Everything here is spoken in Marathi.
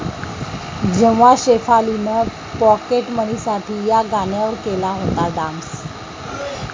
जेव्हा शेफालीनं पाॅकेटमनीसाठी 'या' गाण्यावर केला होता डान्स